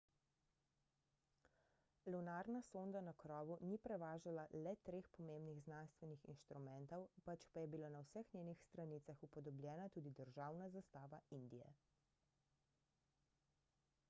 lunarna sonda na krovu ni prevažala le treh pomembnih znanstvenih inštrumentov pač pa je bila na vseh njenih stranicah upodobljena tudi državna zastava indije